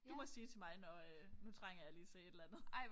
Du må sige til mig når øh nu trænger jeg lige til et eller andet